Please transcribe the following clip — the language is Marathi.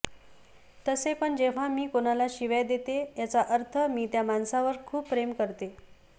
तसे पण जेव्हा मी कोणाला शिव्या देते याचा अर्थ मी त्या माणसावर खूप प्रेम करते